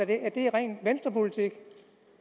af at det er ren venstrepolitik